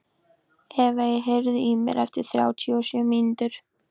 Evey, heyrðu í mér eftir þrjátíu og sjö mínútur.